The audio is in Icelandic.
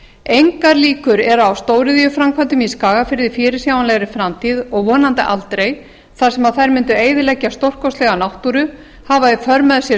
engar líkur eru á stóriðjuframkvæmdum í skagafirði í fyrirsjáanlegri framtíð og vonandi aldrei þar sem þær mundu eyðileggja stórkostlega náttúru hafa í för með sér